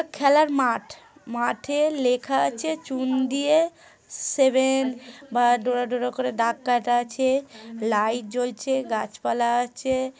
খেলার মাঠ মাঠে লেখা আছে চুন দিয়ে সেভেন বা ডোরা-ডোরা কোরে দাগ কাটা আছে লাইট জ্বলছে গাছ-পালা আছে।